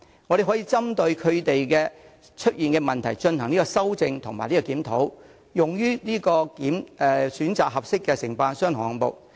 我們可以就外判服務制度所導致的問題進行修正及檢討，並用作選擇合適的承辦商和項目。